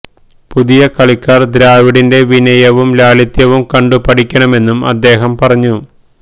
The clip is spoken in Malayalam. പുതിയ കളിക്കാര് ദ്രാവിഡിന്റെ വിനയവും ലാളിത്യവും കണ്ടു പഠിക്കണമെന്നും അദ്ദേഹം പറഞ്ഞു